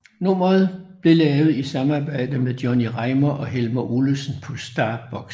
Nummeret blev lavet i samarbejde med Johnny Reimar og Helmer Olesen på STARBOX